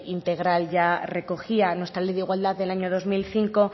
integral ya recogía nuestra ley de igualdad del año dos mil cinco